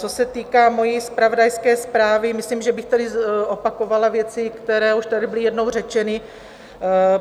Co se týká mojí zpravodajské zprávy, myslím, že bych tady opakovala věci, které už tady byly jednou řečeny.